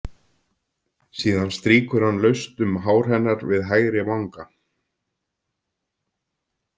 Síðan strýkur hann laust um hár hennar við hægri vanga.